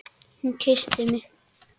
Hún kyssti mig!